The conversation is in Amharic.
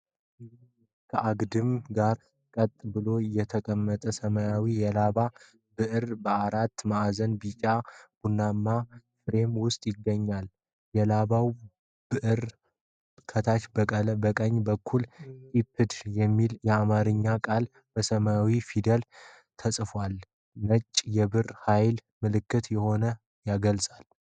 ከአግድም ጋር ቀጥ ብሎ የተቀመጠ ሰማያዊ የላባ ብዕር በአራት ማዕዘን ቢጫ-ቡናማ ፍሬም ውስጥ ይገኛል። የላባው ብዕር ከታች በቀኝ በኩል 'ኢፕድ' የሚል የአማርኛ ቃል በሰማያዊ ፊደላት ተፅፏል። የነፃነት፣ የብዕር ኃይል ምልክት ሆኖ ያገለግላል።